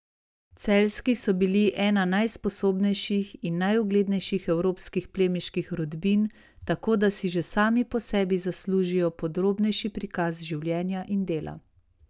Celjski so bili ena najsposobnejših in najuglednejših evropskih plemiških rodbin, tako da si že sami po sebi zaslužijo podrobnejši prikaz življenja in dela.